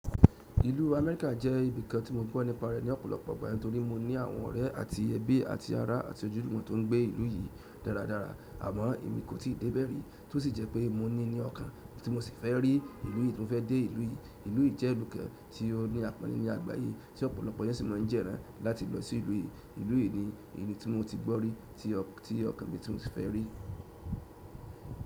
Ìlú Amerika jẹ́ ibìkan tí mo gbọ́ nípa rẹ̀ ní ọ̀pọ̀lọpọ̀ ìgbà nítorí mo ní àwọn ọ̀rẹ́ àti ẹbí àti ará àti ojúlumọ̀ tó ń gbé ìlú yìí dáradára àmọ́ èmi kò tíì dé bẹ̀rẹ̀ rí, tó sì jẹ́ pé mo ní ní ọkàn tí mo sì fẹ́ rí ìlú yìí tí mo fẹ́ dé ìlú yìí. Ìlú yìí jẹ́ ìlú kan tí ó ní àpọ̀nle ní àgbáyé tí ọ̀pọ̀lọpọ̀ èèyàn sì máa ń jẹ́ran láti lọ sí ìlú yìí. Ìlú yìí ni ìlú tí mo ti gbọ́ rí tí ọkàn mi tún sí fẹ́ rí.